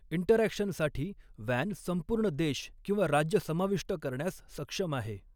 इंटरऍक्शनसाठी वॅन संपूर्ण देश किंवा राज्य समाविष्ट करण्यास सक्षम आहे.